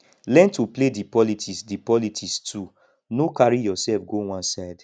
learn to play di politics di politics too no carry yourself go one side